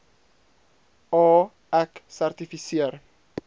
a ek sertifiseer